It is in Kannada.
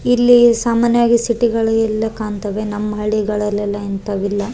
ಇಲ್ಲಿ ಸಾಮಾನ್ಯವಾಗಿ ಸಿಟಿ ಗಳೆಲ್ಲ ಕಾಣ್ತಾವೆ ನಮ್ಮ್ ಹಳ್ಳಿಗಳಲ್ಲಿ ಎಲ್ಲಾ ಇಂತವೆಲ್ಲ ಇಲ್ಲ.